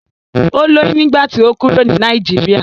Ó lóyún nígbà tí ó kúrò ní Nàìjíríà.